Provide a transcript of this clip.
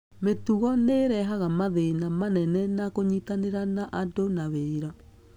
Mĩtugo nĩ ĩrehaga mathĩna manene na kũnyitanĩra na andũ na wĩra.